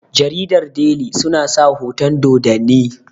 jaridar deli suna sa hoton Dodanni